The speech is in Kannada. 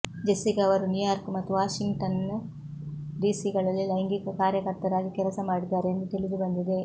ಜೆಸ್ಸಿಕಾ ಅವರು ನ್ಯೂಯಾರ್ಕ್ ಮತ್ತು ವಾಷಿನ್ಟನ್ ಡಿಸಿಗಳಲ್ಲಿ ಲೈಂಗಿಕ ಕಾರ್ಯಕರ್ತರಾಗಿ ಕೆಲಸ ಮಾಡಿದ್ದಾರೆ ಎಂದು ತಿಳಿದುಬಂದಿದೆ